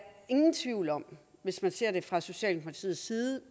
ingen tvivl om hvis man ser det fra socialdemokratiets side